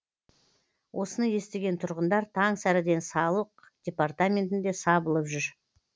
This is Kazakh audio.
осыны естіген тұрғындар таң сәріден салық департаментінде сабылып жүр